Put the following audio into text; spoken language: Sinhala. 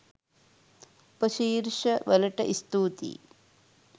උපශීර්ෂ වලට ස්තුතියි